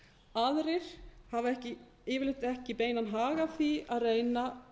aðrir hafa yfirleitt ekki beinan hag af því að reyna